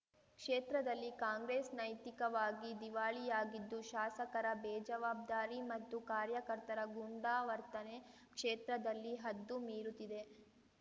ಕ್ಷೇತ್ರದಲ್ಲಿ ಕಾಂಗ್ರೆಸ್‌ ನೈತಿಕವಾಗಿ ದಿವಾಳಿಯಾಗಿದ್ದು ಶಾಸಕರ ಬೇಜವಾಬ್ದಾರಿ ಮತ್ತು ಕಾರ್ಯಕರ್ತರ ಗೂಂಡಾ ವರ್ತನೆ ಕ್ಷೇತ್ರದಲ್ಲಿ ಹದ್ದು ಮೀರುತಿದೆ